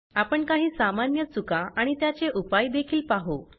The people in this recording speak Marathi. आपण काही सामान्य चुका आणि त्याचे उपाय देखील पाहु